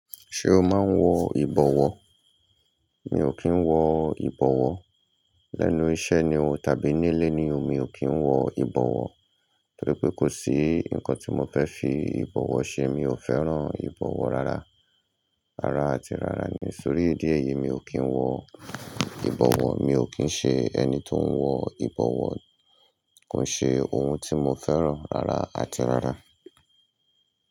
Ṣé o máa ń wọ ìbọwọ́? Mi ò kí ń wọ ìbọwọ́. Lẹ́nu iṣẹ́ ni o tàbí nílé ni o mi ò kí ń wọ ìbọwọ́. Torí pé kò sí nǹkan tí mo fẹ́ fi ìbọwọ́ ṣe. Mi ò fẹ́ràn ìbọwọ́ rárá. Rárá àti rárá ni. Nítorí ìdí èyìí mi ò kí ń wọ ìbọwọ́. Mi ò kí ń ṣe ẹni tó ń wọ ìbọwọ́. Kò n ṣe ohun tí mo fẹ́ràn rárá àti rárá.